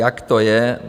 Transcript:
Jak to je?